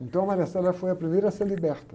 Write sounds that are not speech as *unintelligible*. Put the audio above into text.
Então a *unintelligible* foi a primeira a ser liberta.